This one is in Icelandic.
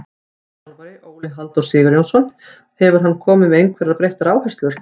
Nýr þjálfari, Óli Halldór Sigurjónsson, hefur hann komið með einhverjar breyttar áherslur?